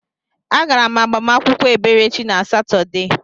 Agara m agbamakwụkwọ Eberechi na Satọde.